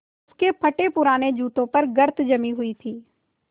उसके फटेपुराने जूतों पर गर्द जमी हुई थी